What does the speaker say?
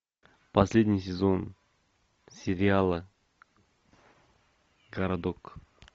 последний сезон сериала городок